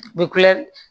U bɛ kule